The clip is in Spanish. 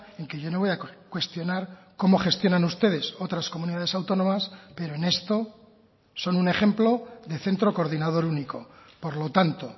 en que yo no voy a cuestionar cómo gestionan ustedes otras comunidades autónomas pero en esto son un ejemplo de centro coordinador único por lo tanto